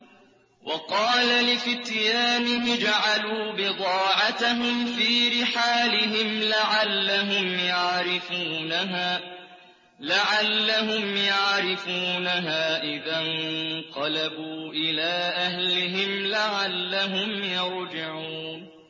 وَقَالَ لِفِتْيَانِهِ اجْعَلُوا بِضَاعَتَهُمْ فِي رِحَالِهِمْ لَعَلَّهُمْ يَعْرِفُونَهَا إِذَا انقَلَبُوا إِلَىٰ أَهْلِهِمْ لَعَلَّهُمْ يَرْجِعُونَ